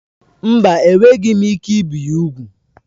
Mba, enweghị m ike ibi ya úgwù.